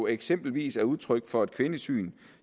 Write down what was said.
eksempelvis er udtryk for et kvindesyn